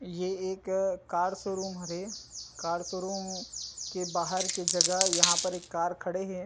ये एक car showroom हरे कार शोरूम के बाहर के जगह यहां पर एक कार खड़े है।